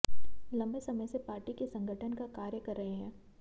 लंबे समय से पार्टी के संगठन का कार्य कर रहे हैं